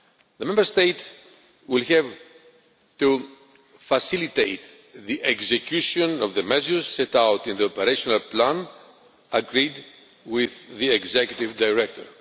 days. The Member State will have to facilitate the execution of the measures set out in the operational plan agreed with the Executive Director.